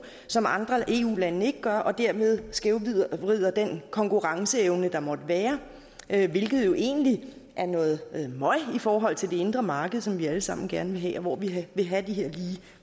som andre eu lande ikke gør og dermed skævvrider den konkurrenceevne der måtte være hvilket jo egentlig er noget møg i forhold til det indre marked som vi alle sammen gerne vil have og hvor vi vil have de her lige